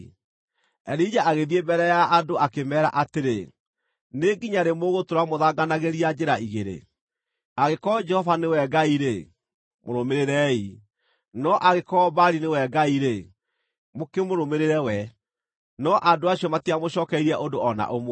Elija agĩthiĩ mbere ya andũ akĩmeera atĩrĩ, “Nĩ nginya rĩ mũgũtũũra mũthanganagĩria njĩra igĩrĩ? Angĩkorwo Jehova nĩwe Ngai-rĩ, mũrũmĩrĩrei, no angĩkorwo Baali nĩwe Ngai-rĩ, mũkĩmũrũmĩrĩre we.” No andũ acio matiamũcookeirie ũndũ o na ũmwe.